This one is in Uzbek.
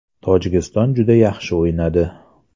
Tojikiston juda yaxshi o‘ynadi.